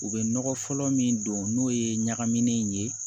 U bɛ nɔgɔ fɔlɔ min don n'o ye ɲagaminen ye